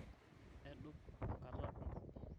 edorp enkata enkop